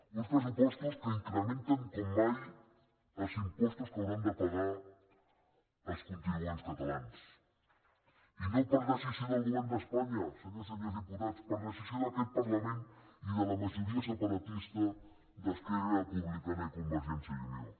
uns pressupostos que incrementen com mai els impostos que hauran de pagar els contribuents catalans i no per decisió del govern d’espanya senyores i senyors diputats per decisió d’aquest parlament i de la majoria separatista d’esquerra republicana i convergència i unió